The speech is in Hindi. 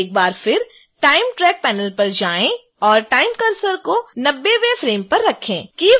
एक बार फिर time track panel पर जाएं और time cursor को 90वें फ्रेम पर रखें